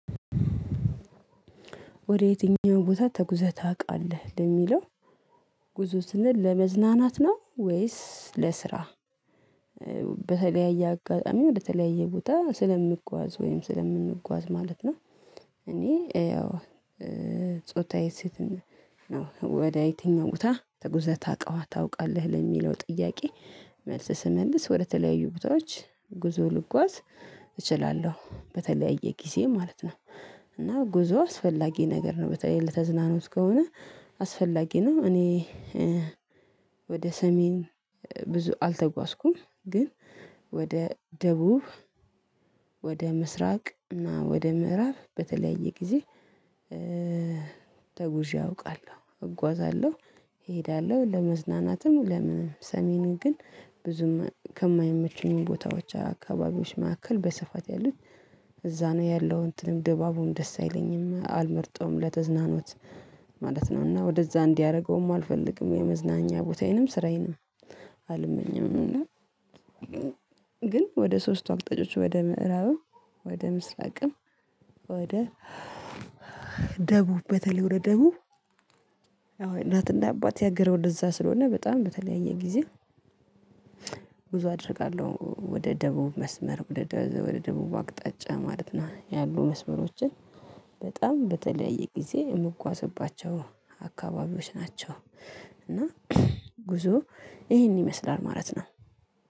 ወደ የትኛው ቦታ ተጉዘህ ታውቃለህ ለሚለው ጉዞ ስንል ለመዝናናት ነው ወይስ ለስራ በተለያየ አጋጣሚ ወደተለያየ ቦታ ስለምጓዝ ወይም ስለምንጓዝ ማለት ነው? እኔ ያው ጾታዬ ሴት ነው ወደ የትኛው ቦታ ትጉዘህ ታውቃለህ ለሚለው ጥያቄ መልስ ስመልስ ወደተለያዩ ቦታዎች ጉዞ ልጓዝ እችላለሁ በተለያየ ጊዜ ማለት ነው። እና ጉዞ አስፈላጊ ነገር ነው በተለይ ለተዝናኖት ከሆነ አስፈላጊ ነው። እኔ ወደ ሰሜን ብዙ አልተጓዝኩም። ግን ወደ ደቡብ ወደ ምስራቅ እና ወደ ምዕራብ በተለያየ ጊዜ ተጉዤ አውቃለሁ። እጓዛለሁ እሄዳለሁ ለመዝናናትም ለምንም ሰሜንም ግን ብዙም ከማይመቸኙ ቦታዎች አካባቢዎች መካከል በሰፋት ያሉት እዛ ነው ያለው እንትንም ድባቡን ደስ አይለኝም አልመርጠውም ለተዝናኖት ማለት ነውና ወደዛ እንዲያደርገውም አልፈልግም የመዝናኛ ቦታዬንም ስራዬንም አልመኘውም። እና ግን ወደ ሶስቱ አቅጣጫዎች ወደ ምዕራብ ወደ ምስራቅም ወደ ደቡብ በተለይ ወደ ደቡብ የእናትና የአባቴ ሐገረ ወደዛ ስለሆነ በጣም በተለያየ ጊዜ ጉዞ አደርጋለሁ። ወደ ደቡብ መስመር ወደ ወደ ደቡብ አቅጣጫ ማለት ነው ያሉ መስመሮችን በጣም በተለየ ጊዜ የምጓዝባቸው አካባቢዎች ናቸው። እና ጉዞ ይሄን ይመስላል ማለት ነው።